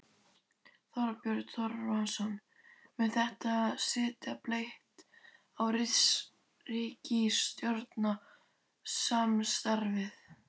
Þorbjörn Þórðarson: Mun þetta setja blett á ríkisstjórnarsamstarfið?